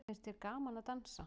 Finnst þér gaman að dansa?